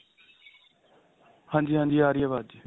ਹਾਂਜੀ ਹਾਂਜੀ ਆ ਰਹੀ ਏ ਆਵਾਜ